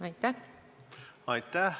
Aitäh!